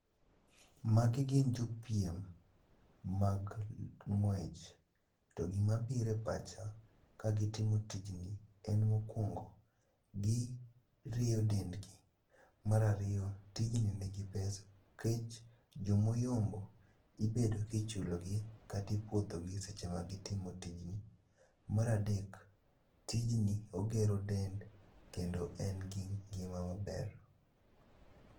Magi gin jopiem mag ng'wech, to gima bire pacha kagitimo tijni en mokwongo, gi rieyo dendgi. Marariyo, tijni nigi pesa, jomoyombo ibedo kichulogi katipuodhogi e seche ma gitimo tijni. Maradek, tijni ogero del kendo en gi ngima maber.